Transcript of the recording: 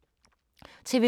TV 2